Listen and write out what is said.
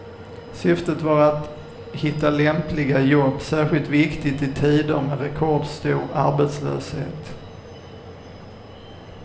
Syftet var att lättare hitta lämpliga jobb, särskilt viktigt i tider med rekordstor arbetslöshet.